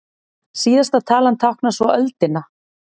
Síðasta talan táknar svo öldina.